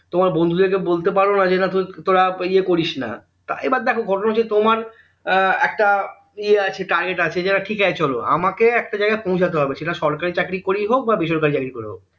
তোমার বন্ধুদের কে বলতে পারো না যে তোরা ইয়ে করিস না তা এবার দেখো ঘটনা হচ্ছে তোমার হম একটা ইয়ে আছে target আছে যে না ঠিকআছে চলো আমাকে একটা জায়গায় পৌঁছাতে হবে সেটা সরকারী চাকরী করেই হোক বা বেসরকারী চাকরী করেই হোক